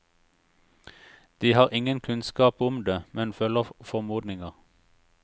De har ingen kunnskap om det, men følger formodninger.